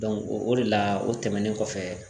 o de la o tɛmɛnen kɔfɛ